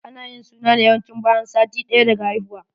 Ana yin suna ne yawanci bayan sati ɗaya daga haihuwa.